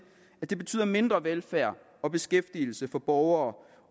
at det betyder mindre velfærd og beskæftigelse for borgere